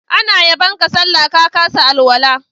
Ana yabon ka sallah, ka kasa alwala.